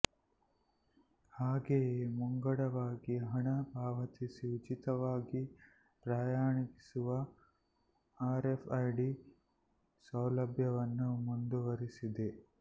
ಹಾಗೆಯೇ ಮುಂಗಡವಾಗಿ ಹಣ ಪಾವತಿಸಿ ಉಚಿತವಾಗಿ ಪ್ರಯಾಣಿಸುವ ಆರ್ಎಫ್ಐಡಿ ಸೌಲಭ್ಯವನ್ನು ಮುಂದುವರಿಸಿದೆ